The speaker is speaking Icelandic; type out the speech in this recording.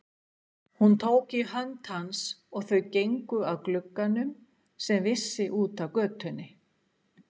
Hún tók í hönd hans, og þau gengu að glugganum, sem vissi út að götunni.